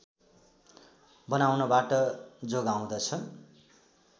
बनाउनबाट जोगाउँदछ